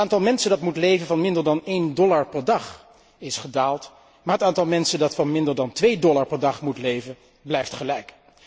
Het aantal mensen dat moet leven van minder dan 1 dollar per dag is gedaald, maar het aantal mensen dat van minder dan 2 dollar per dag moet leven, blijft gelijk.